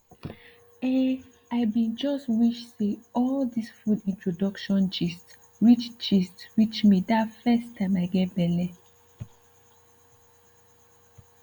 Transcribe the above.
ehn i bin just wish say all this food introduction gist reach gist reach me that first time i get belly